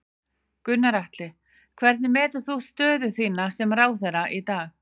Gunnar Atli: Hvernig metur þú stöðu þína sem ráðherra í dag?